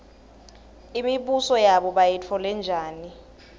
imibuso yabo bayitfole njani